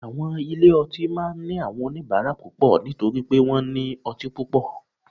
Àwọn ilé ọtí máa ní àwọn oníbàárà púpọ̀ nítorí pé wọ́n ní ọtí púpọ̀